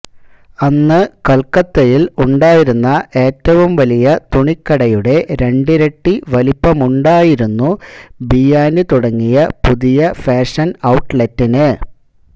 അന്ന് കൽക്കത്തയിൽ ഉണ്ടായിരുന്ന ഏറ്റവും വലിയ തുണിക്കടയുടെ രണ്ടിരട്ടി വലിപ്പമുണ്ടായിരുന്നു ബിയാനി തുടങ്ങിയ പുതിയ ഫാഷൻ ഔട്ട്ലെറ്റിന്